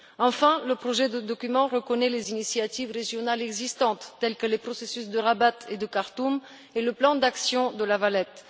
Enfin, le projet de document reconnaît les initiatives régionales existantes telles que les processus de Rabat et de Khartoum et le plan d'action de La Valette.